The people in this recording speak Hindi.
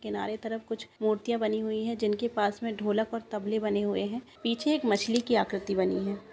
किनारे तरफ कुछ मूर्तियाँ बनी हुए हैं जिनके पास ढोलक और तबले बने हुए हैं पीछे एक मछली की आकृति बनी है।